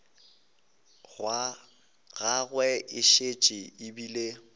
gagwe e šetše e bile